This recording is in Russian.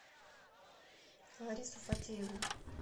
ларису фатееву